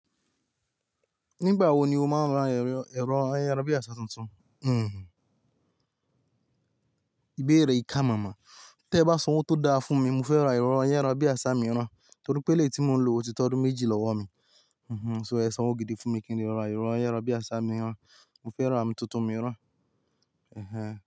Nígbà wo ni o máa ń rán ẹ̀rọ ayárabíàṣá tuntun? Hmhmm, ìbéèrè ìká máma. Tẹ́ ẹ bá san owó tó dáa fún mi, mo fẹ́ ra ẹ̀rọ ayárabíàṣá mìíràn, torípé elèyi tí mò ń lò o ti tódun méjì lọ́wọ́ mi. Hmhmm, so ẹ san owó gidi fún mi kí n lè ra ẹ̀rọ ayárabíàṣá mìíràn. Mo fẹ́ ra mìn tuntun mìíràn. Ehẹń.